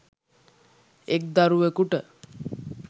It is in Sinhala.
එක් දරුවකුට